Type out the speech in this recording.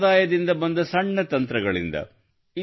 ಸಂಪ್ರದಾಯದಿಂದ ಬಂದ ಸಣ್ಣ ತಂತ್ರಗಳಿಂದ